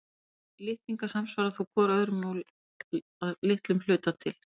Þessir litningar samsvara þó hvor öðrum að litlum hluta til.